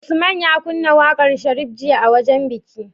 Usman ya kunna waƙar sharif jiya a wajan biki?